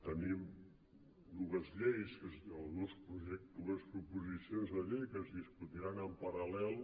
tenim dues lleis o dues proposicions de llei que es discutiran en paral·lel